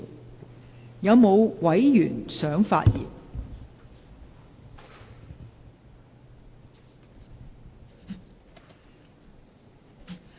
是否有委員想發言？